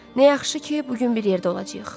Nə yaxşı ki, bu gün bir yerdə olacağıq.